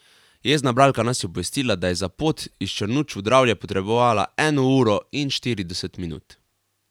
Jezna bralka nas je obvestila, da je za pot iz Črnuč v Dravlje potrebovala eno uro in štirideset minut.